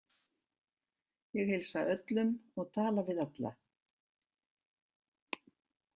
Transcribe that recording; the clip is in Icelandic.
Ég heilsa öllum og tala við alla.